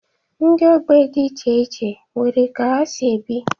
Ndị ogbe dị iche iche nwere ka ha si ebi.